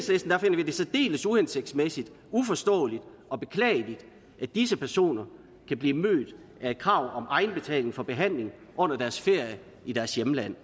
det særdeles uhensigtsmæssigt uforståeligt og beklageligt at disse personer kan blive mødt af et krav om egenbetaling for behandling under deres ferie i deres hjemland